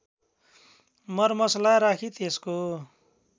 मरमसला राखी त्यसको